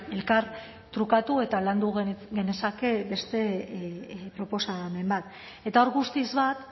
elkar trukatu eta landu genezake beste proposamen bat eta hor guztiz bat